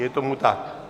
Je tomu tak.